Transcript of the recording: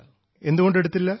ങേ എന്തുകൊണ്ട് എടുത്തില്ല